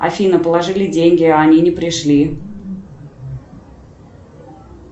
афина положили деньги а они не пришли